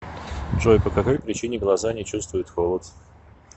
джой по какой причине глаза не чувствуют холод